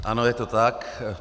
Ano, je to tak.